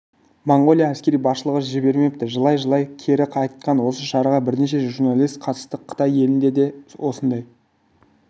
моңғолия әскери басшылығы жібермепті жылай-жылай кері қайтқан осы шараға бірнеше журналист қатыстық қытай елінде де осындай